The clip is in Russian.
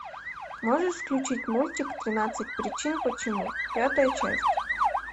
можешь включить мультик тринадцать причин почему пятая часть